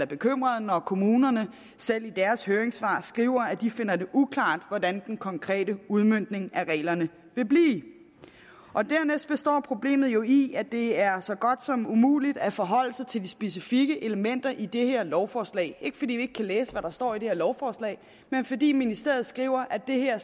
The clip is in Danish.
bekymret når kommunerne selv i deres høringssvar skriver at de finder det uklart hvordan den konkrete udmøntning af reglerne vil blive dernæst består problemet jo i at det er så godt som umuligt at forholde sig til de specifikke elementer i det her lovforslag det ikke fordi vi ikke kan læse hvad der står i det her lovforslag men fordi ministeriet skriver at det her